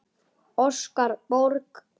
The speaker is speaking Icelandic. Óskar Borg.